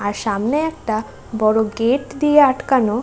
আর সামনে একটা বড় গেট দিয়ে আটকানো।